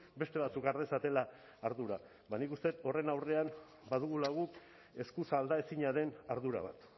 beste batzuk har dezatela ardura ba nik uste dut horren aurrean badugula guk eskuz aldaezina den ardura bat